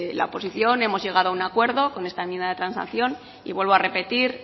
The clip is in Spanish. la oposición hemos llegado a un acuerdo con esta enmienda de transacción y vuelvo a repetir